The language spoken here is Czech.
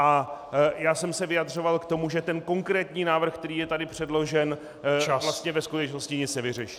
A já jsem se vyjadřoval k tomu, že ten konkrétní návrh, který je tady předložen, vlastně ve skutečnosti nic nevyřeší.